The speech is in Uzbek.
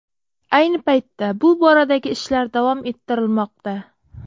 Ayni paytda bu boradagi ishlar davom ettirilmoqda.